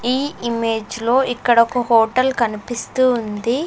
ఈ ఇమేజ్లో ఇక్కడొక హోటల్ కనిపిస్తూ ఉంది.